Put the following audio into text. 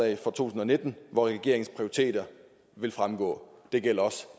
tusind og nitten hvori regeringens prioriteter vil fremgå og det gælder også